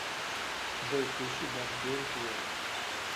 джой включи барт гейм тэ вэ